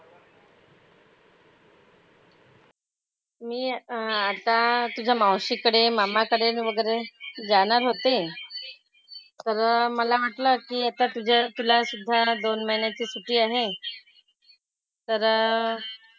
मी आता तुझ्या मावशीकडे, मामाकडे न वगैरे जाणार होते. तर मला वाटलं की आता तुझ्या तुलासुद्धा दोन महिन्याची सुट्टी आहे. तर,